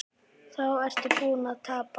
Þá ertu búinn að tapa.